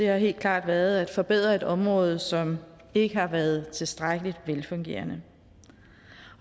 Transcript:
har helt klart været at forbedre et område som ikke har været tilstrækkelig velfungerende